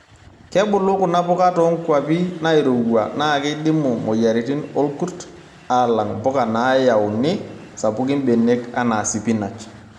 Kebulu kuna puka too nkuapi nairowua naa keidimu moyiaritin olkurt alang' mpuka naayauoni sapuki mbenek anaa sipinach.